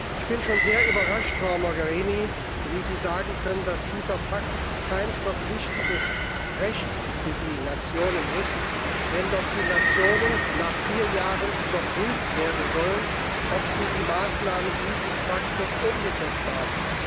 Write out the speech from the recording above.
Ich bin schon sehr überrascht, Frau Mogherini, wie Sie sagen können, dass dieser Pakt kein verpflichtendes Recht für die Nationen ist, wenn doch die Nationen nach vier Jahren dahingehend überprüft werden sollen, ob sie die Maßnahmen dieses Paktes umgesetzt haben.